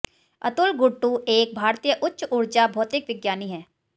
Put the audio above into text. अतुल गुर्टु एक भारतीय उच्च ऊर्जा भौतिक विज्ञानी हैं